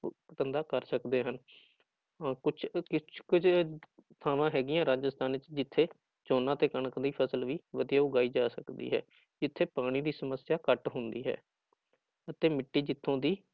ਧੰਦਾ ਕਰ ਸਕਦੇ ਹਨ ਅਹ ਕੁਛ ਕਿਸ ਕੁੱਝ ਥਾਵਾਂ ਹੈਗੀਆਂ ਰਾਜਸਥਾਨ ਚ ਜਿੱਥੇ ਝੋਨਾ ਤੇ ਕਣਕ ਦੀ ਫ਼ਸਲ ਵੀ ਵਧੀਆ ਉਗਾਈ ਜਾ ਸਕਦੀ ਹੈ, ਜਿੱਥੇ ਪਾਣੀ ਦੀ ਸਮੱਸਿਆ ਘੱਟ ਹੁੰਦੀ ਹੈ, ਅਤੇ ਮਿੱਟੀ ਜਿੱਥੋਂ ਦੀ